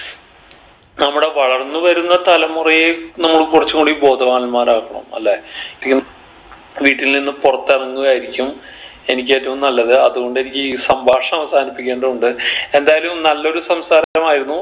നമ്മുടെ വളർന്ന് വരുന്ന തലമുറയെ നമ്മൾ കുറച്ചുംകൂടി ബോധവാന്മാരാക്കണം അല്ലെ തി വീട്ടിൽ നിന്ന് പുറത്തു ഇറങ്ങുകയാരിക്കും എനിക്ക് ഏറ്റവും നല്ലത് അതോണ്ട് എനിക്ക് ഈ സംഭാഷണം അവസാനിപ്പിക്കേണ്ടതുണ്ട് എന്തായാലും നല്ലൊരു സംസാരമായിരുന്നു